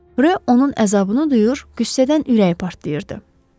Rö onun əzabını duyur, qüssədən ürəyi partlayırdı.